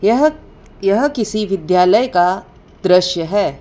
यह यह किसी विद्यालय का दृश्य है।